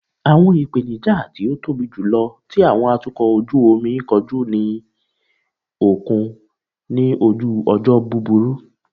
Awọn ipenija ti o tobi julọ ti awọn atukọ oju omi koju ni okun ni oju ojo buburu